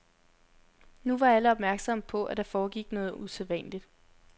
Nu var alle opmærksomme på, at der foregik noget usædvanligt.